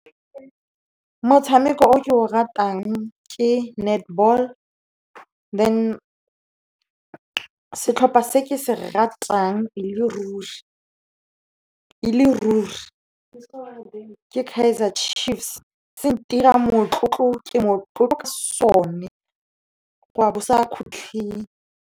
Motshameko o ke o ratang ke netball. Then setlhopha se ke se ratang e le ruri ke Kaizer Chiefs. Se ntira motlotlo, ke motlotlo ka sone go ya bo sa kgutlhing.